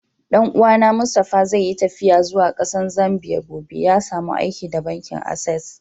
Dan uwa na Mustapha zai yi taffiya zuwa Kasan Zambia gobe. Ya samu aiki da bankin access.